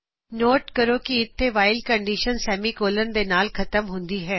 net ਕਰੋ ਕਿ ਇੱਥੇ ਵਾਇਲ ਕੰਡੀਸ਼ਨ ਸੈਮੀਕੋਲਨ ਦੇ ਨਾਲ ਖਤਮ ਹੁੰਦੀ ਹੈ